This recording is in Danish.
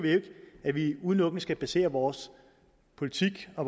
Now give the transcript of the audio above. at vi udelukkende skal basere vores politik og